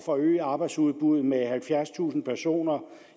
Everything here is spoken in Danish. forøge arbejdsudbuddet med halvfjerdstusind personer